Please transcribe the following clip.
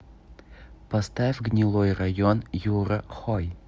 поставь гнилой район юра хой